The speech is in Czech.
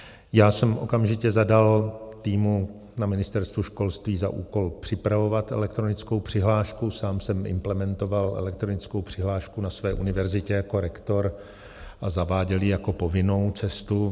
Já jsem okamžitě zadal týmu na Ministerstvu školství za úkol připravovat elektronickou přihlášku, sám jsem implementoval elektronickou přihlášku na své univerzitě jako rektor a zaváděl ji jako povinnou cestu.